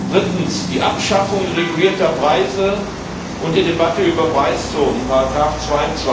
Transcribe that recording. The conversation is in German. Drittens die Abschaffung regulierter Preise und die Debatte über Preiszonen, Ziffer